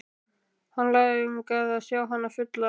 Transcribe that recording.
Hann langaði að sjá hana fulla.